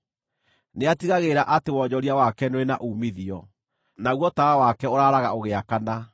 Nĩatigagĩrĩra atĩ wonjoria wake nĩũrĩ na uumithio, naguo tawa wake ũraaraga ũgĩakana.